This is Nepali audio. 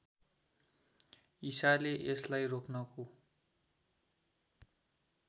ईसाले यसलाई रोक्नको